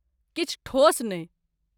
किछु ठोस नहि।